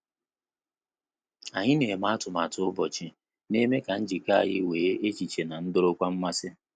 Anyị na eme atụmatụ ụbọchị, na-eme ka njikọ anyị wee echiche na adorokwa mmasi